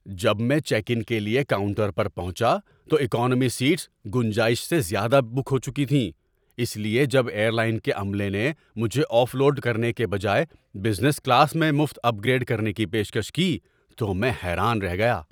جب میں check in کے لیے کاؤنٹر پر پہنچا تو اکانومی سیٹس گنجائش سے زیادہ بک ہو چکی تھیں، اس لیے جب ایئرلائن کے عملے نے مجھے آف لوڈ کرنے کے بجائے بزنس کلاس میں مفت اپ گریڈ کرنے کی پیشکش کی تو میں حیران رہ گیا۔